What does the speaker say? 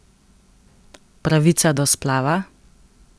Pravica do splava?